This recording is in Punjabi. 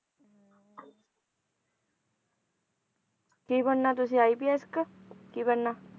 ਕੀ ਬਣਨਾ ਤੁਸੀਂ IPS ਕਿ ਕੀ ਬਣਨਾ?